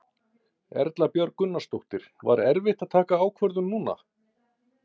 Erla Björg Gunnarsdóttir: Var erfitt að taka ákvörðun núna?